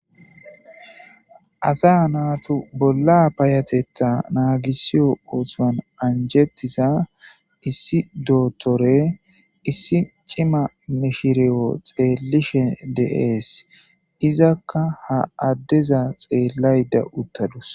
Asa naatu bolla payatetha naagisiyo oosoan anjettiza issi dootore issi cima mishireyo xeellishe deees izakka ha addeza xeellay da uttadus.